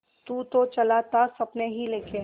तू तो चला था सपने ही लेके